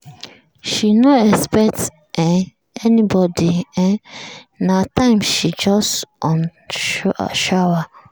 she no expect um anybody na um that time she just on shower.